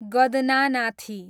गदनानाथि